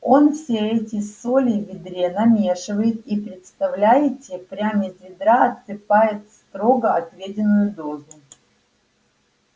он все эти соли в ведре намешивает и представляете прям из ведра отсыпает строго отведённую дозу